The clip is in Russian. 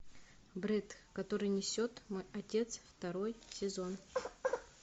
брет который несет мой отец второй сезон